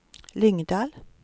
Lyngdal